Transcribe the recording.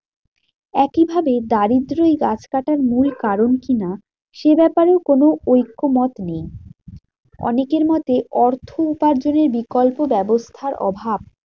একইভাবে দারিদ্রই গাছকাটার মূল কারণ কি না? সে ব্যাপারেও কোনো ঐক্যমত নেই। অনেকের মতে অর্থ উপার্জনের বিকল্প ব্যবস্থার অভাব।